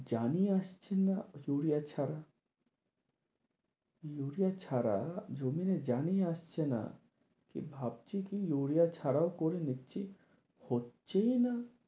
জানই আসছে না ইউরিয়া ছাড়া, ইউরিয়া ছাড়া জমিন এ জানই আসছে না কি ভাবছে কি ইউরিয়া ছাড়া ও করে নিচ্ছে হচ্ছেই না